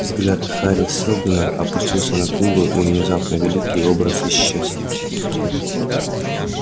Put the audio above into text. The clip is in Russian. взгляд хари сэлдона опустился на книгу и внезапно великий образ исчез